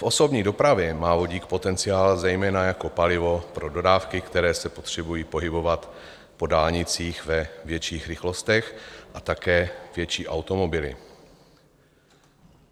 V osobní dopravě má vodík potenciál zejména jako palivo pro dodávky, které se potřebují pohybovat po dálnicích ve větších rychlostech, a také větší automobily.